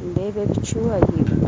nindeeba ebicu ahaiguru